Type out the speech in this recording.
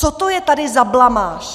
Co to je tady za blamáž?